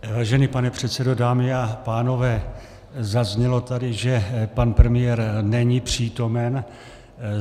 Vážený pane předsedo, dámy a pánové, zaznělo tady, že pan premiér není přítomen.